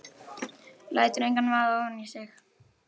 Lætur engan vaða ofan í sig.